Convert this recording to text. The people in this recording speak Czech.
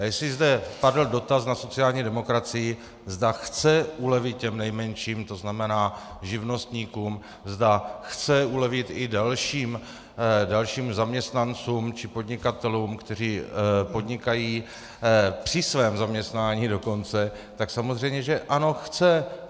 A jestli zde padl dotaz na sociální demokracii, zda chce ulevit těm nejmenším, to znamená živnostníkům, zda chce ulevit i dalším zaměstnancům či podnikatelům, kteří podnikají při svém zaměstnání dokonce, tak samozřejmě že ano, chce.